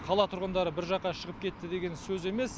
қала тұрғындары бір жаққа шығып кетті деген сөз емес